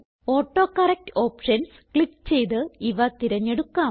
autocorrect options click ചെയ്ത് ഇവ തിരഞ്ഞെടുക്കാം